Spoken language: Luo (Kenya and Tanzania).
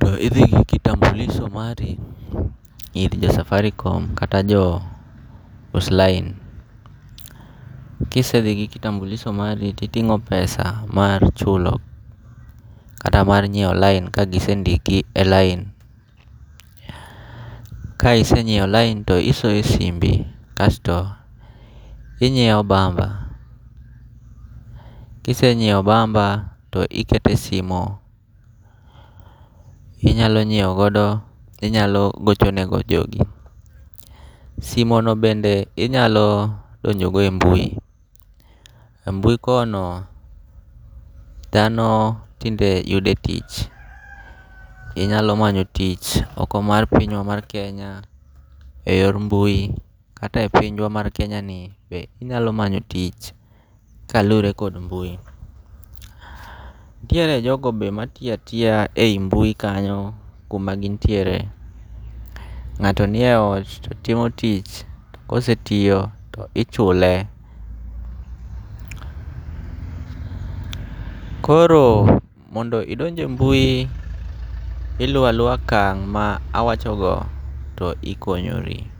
to ithi gi kitambulisho mari ir jo Safaricom kata jo uslaine kisethi gi kitambulisho mari to itingo' pesa mari chulo kata mar nyiewo line ka gisendiki e line, kae isenyiewo line to isoye simbi kasto inyiewo bamba, kise nyiewo bamba to ikete simo, inyalo nyiewo godo inyalo gocho negodo jogi, simono bende inyalo donjo go e mbui, e mbui kono thano tinde yude tich, inyalo manyo tich oko mar pinywa mar Kenya e yor mbui kata mana e pinywa mar Kenya ni be inyalo manyo tich kalure kod mbui, tiere jogo be ma tiyo atita ei mbui kanyo kuma gin tiere, nga'to nie ot to timo tich kosetiyo to ichule, koro mondo mi indoje e mbui iluo alua okang' mawachono to ikonyori.